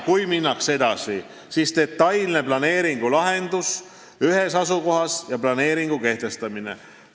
Kui minnakse edasi, siis tehakse detailne planeeringulahendus ühes asukohas ja planeering kehtestatakse.